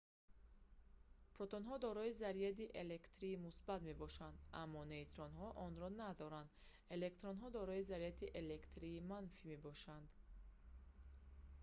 протонҳо дорои заряди электрии мусбат мебошанд аммо нейтронҳо онро надоранд электронҳо дорои заряди электрии манфӣ мебошанд